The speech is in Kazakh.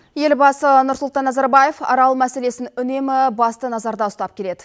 елбасы нұрсұлтан назарбаев арал мәселесін үнемі басты назарда ұстап келеді